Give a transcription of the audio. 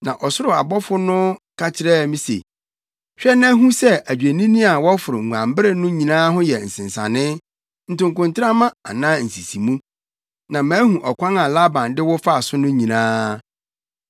Na ɔsoro abɔfo no ka kyerɛɛ me se, ‘Hwɛ na hu sɛ adwennini a wɔforo nguanbere no nyinaa ho yɛ nsensanee, ntokontrama anaa nsisimu, na mahu ɔkwan a Laban de wo fa so no nyinaa.